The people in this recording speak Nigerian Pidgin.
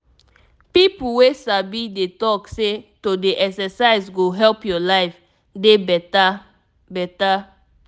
people wey sabi dey talk say to dey exercise go help your life dey better. better.